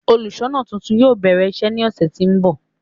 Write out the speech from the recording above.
Óluṣọọna tuntun yóò bẹrẹ iṣe ni ọsẹ ti n bọ